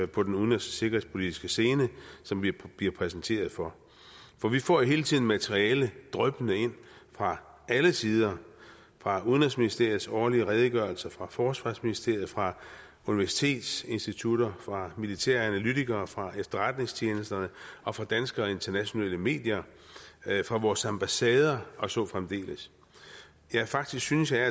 på den udenrigs og sikkerhedspolitiske scene som vi bliver præsenteret for for vi får jo hele tiden materiale dryppende ind fra alle sider fra udenrigsministeriets årlige redegørelse fra forsvarsministeriet fra universitetsinstitutter fra militæranalytikere fra efterretningstjenesterne og fra danske og internationale medier fra vores ambassader og så fremdeles faktisk synes jeg at